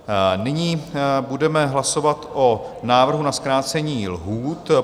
Nyní budeme hlasovat o návrhu na zkrácení lhůt.